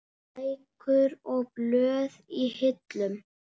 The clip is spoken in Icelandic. Bækur og blöð í hillum.